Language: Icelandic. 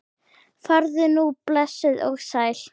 Farðu nú blessuð og sæl.